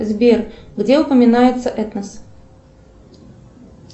сбер где упоминается этнос